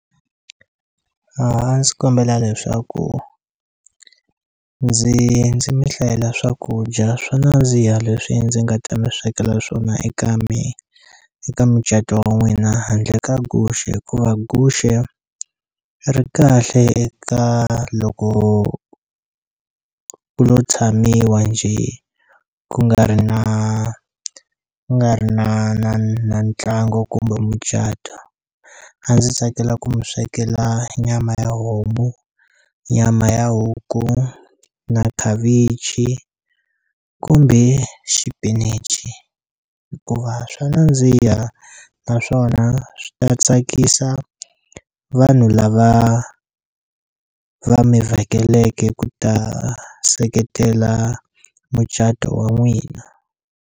A ndzi kombela leswaku ndzi ndzi mi hlayela swakudya swo nandziha leswi ndzi nga ta mi swekela swona eka mi eka micato wa n'wina handle ka guxe hikuva guxe ri kahle eka loko ku lo tshamiwa njhe ku nga ri na ku nga ri na na na ntlangu kumbe mucato a ndzi tsakela ku mi swekela nyama ya homu nyama ya huku na khavichi kumbe xipinichi hikuva swa nandziha naswona swi ta tsakisa vanhu lava va mi vhakeleke ku ta seketela mucato wa n'wina.